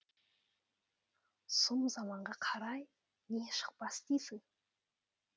сұм заманға қарай не шықпас дейсің